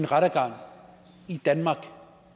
rettergang i andre